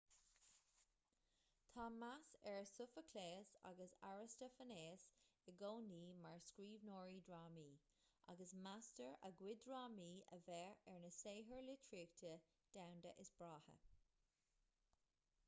tá meas ar sofaicléas agus arastafainéas i gcónaí mar scríbhneoirí drámaí agus meastar a gcuid drámaí a bheith ar na saothair litríochta domhanda is breátha